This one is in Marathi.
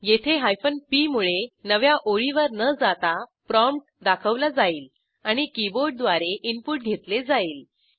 येथे p मुळे नव्या ओळीवर न जाता प्रॉम्प्ट दाखवला जाईल आणि कीबोर्डद्वारे इनपुट घेतले जाईल